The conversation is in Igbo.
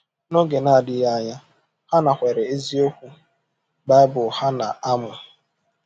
N’oge na-adịghị anya, ha nakweere eziokwu Baịbụl ha na-amụ.